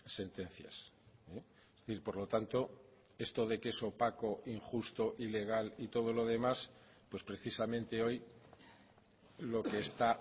sentencias es decir por lo tanto esto de que es opaco injusto ilegal y todo lo demás pues precisamente hoy lo que está